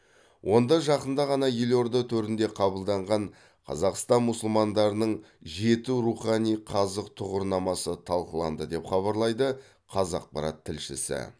онда жақында ғана елорда төрінде қабылданған қазақстан мұсылмандарының жеті рухани қазық тұғырнамасы талқыланды деп хабарлайды қазақпарат тілшісі